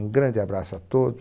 Um grande abraço a todos.